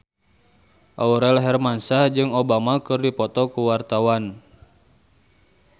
Aurel Hermansyah jeung Obama keur dipoto ku wartawan